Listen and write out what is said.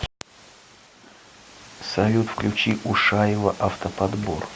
салют включи ушаева автоподбор